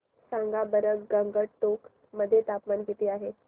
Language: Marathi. सांगा बरं गंगटोक मध्ये तापमान किती आहे